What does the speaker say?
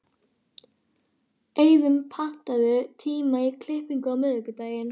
Eiðunn, pantaðu tíma í klippingu á miðvikudaginn.